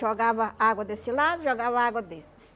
Jogava água desse lado, jogava água desse.